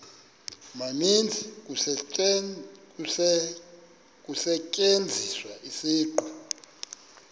maninzi kusetyenziswa isiqu